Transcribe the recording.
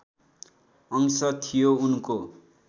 अंश थियो उनको